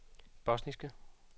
bosniske